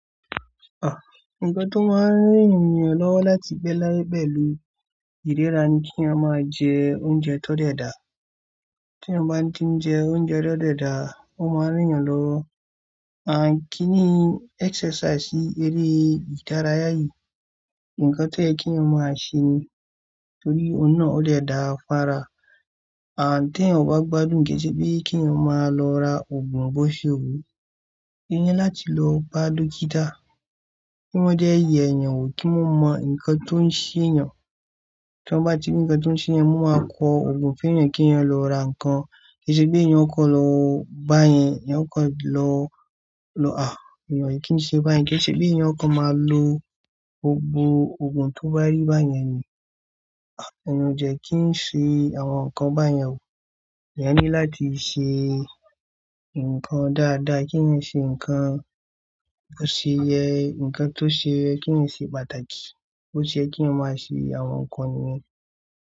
Ah! Ǹkan tó máa ń rí ènìyàn lọ́wọ́ láti bẹ́ láyé bẹ́ẹ̀ lu ìríra ni kí èyàn máa jẹ oúnjẹ tó dẹda. Tí èyàn bá ti ń jẹ oúnjẹ tó dẹda, ó máa ń rí yan lọ́wọ́. A kì í exercise ìrí ìdárayá yìí. Ǹkan tẹ yo ki èyàn máa ṣe ni torí òun náà ó dẹda fára. A tẹ́ yan bá gbádùn gẹ́gẹ́ bí kí èyàn máa lọ ra ògùn bó ṣe wù ú. E yi láti lọ bá dókítà? Kí wọ́n dẹ yèèyàn wò kí wọ́n mọ ǹkan tó ń ṣe yàn. Tí wọ́n bá ti rí ǹkan tó ń ṣe yàn, wọ́n máa kọ ògùn fún èyàn kí èyàn lọ ra ǹkan. Ko si bí èyàn kò lọ báyẹn, èyàn kò lọ, lọ, à, èyàn kì í ṣe báyẹn. Kẹ́ se bí èyàn kò máa lo gbogbo ògùn tó bá rí báyẹn ni, à, èyàn jẹ́ kí ń ṣe àwọn nǹkan báyẹn ò. Èyàn ní láti ṣe nǹkan dáadáa. Kí ń ṣe nǹkan tó ṣe yẹ, nǹkan tó ṣe kí ń ṣe pàtàkì. Ó ṣe ye kí yan má ṣe àwọn nǹkan ni.